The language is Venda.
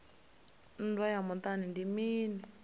nndwa ya muṱani ndi mini